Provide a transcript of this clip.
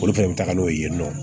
Olu fɛnɛ bɛ taga n'o ye yen nɔ